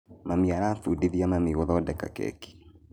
Mami arabundithia mami gũthondeka keki